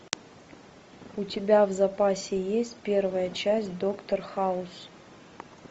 у тебя в запасе есть первая часть доктор хаус